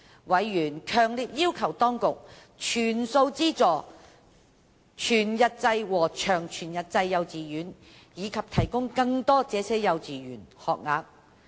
委員強烈要求當局，全數資助全日制和長全日制幼稚園，以及提供更多這些幼稚園學額。